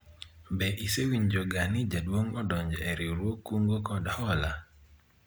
be isewinjoga ni Jaduong' odonjo e riwruog kungo kod hola ?